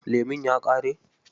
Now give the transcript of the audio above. Lemun ya ƙare?